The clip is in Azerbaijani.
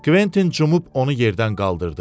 Kventin cumub onu yerdən qaldırdı.